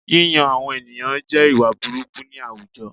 Yíyan àwọn ènìyàn jẹ jẹ́ ìwà burúkú ni àwùjọ